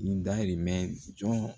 N dayirimɛ jɔn